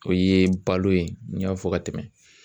O ye balo ye n y'a fɔ ka tɛmɛ